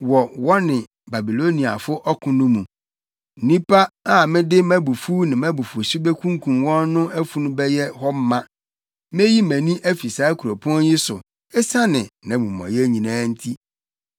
wɔ wɔne Babiloniafo ɔko no mu. ‘Nnipa a mede mʼabufuw ne mʼabufuwhyew bekunkum wɔn no afunu bɛyɛ hɔ ma. Meyi mʼani afi saa kuropɔn yi so esiane nʼamumɔyɛ nyinaa nti.